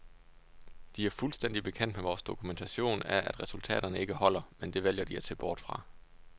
De er fuldstændig bekendt med vores dokumentation af, at resultaterne ikke holder, men det vælger de at se bort fra.